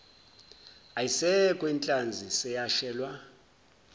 alisekho inhlazi seyashelwa